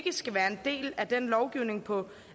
skal være en del af den lovgivning på